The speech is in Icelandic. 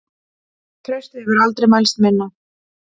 Traustið hefur aldrei mælst minna.